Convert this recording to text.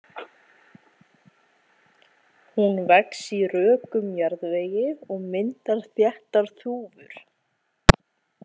Hún vex í rökum jarðvegi og myndar þéttar þúfur.